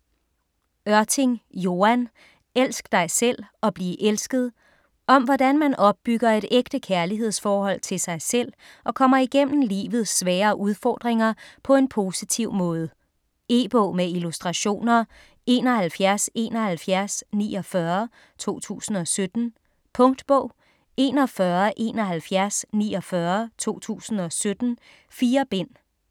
Ørting, Joan: Elsk dig selv og bliv elsket Om hvordan man opbygger et ægte kærlighedsforhold til sig selv og kommer igennem livets svære udfordringer på en positiv måde. E-bog med illustrationer 717149 2017. Punktbog 417149 2017. 4 bind.